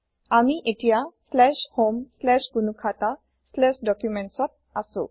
আমি এতিয়া homegnukhataDocumentsত আছো